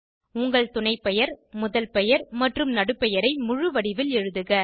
உங்கள் துணைப்பெயர் முதல் பெயர் மற்றும் நடுபெயரை முழுவடிவில் எழுதுக